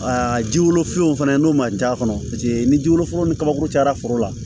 Aa jiw finiw fana n'o ma ja kɔnɔ paseke ni ji wolofilaw ni kabakuru cayara foro la